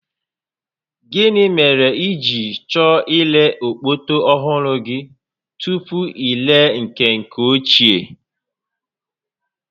Gịnị mere i ji chọọ ire okpoto ọhụrụ gị tupu i ree nke nke ochie?